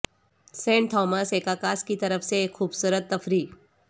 Saint Thomas ایککاساس کی طرف سے ایک خوبصورت تفریح